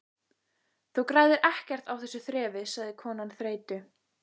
Þú græðir ekkert á þessu þrefi sagði konan þreytu